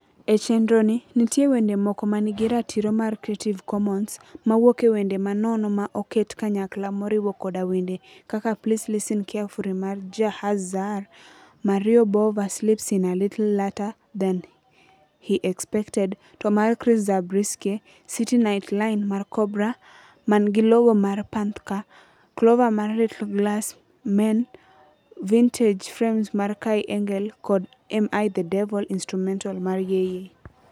E chendroni nitie wende moko ma nigi ratiro mar Creative Commons, mawuok ewende ma nono ma oket kanyakla moriwo koda wende kaka Please Listen Carefully mar Jahzaar; Mario Bava Sleeps In a Little Later Than He Expected To mar Chris Zabriskie; City Night Line mar Cobra (man gi logo mar panthčre); Clover mar Little Glass Men; Vintage Frames mar Kai Engel; kod Am I The Devil (Instrumental) mar YEYEY.